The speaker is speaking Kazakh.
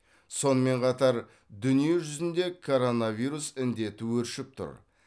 сонымен қатар дүниежүзінде коронавирус індеті өршіп тұр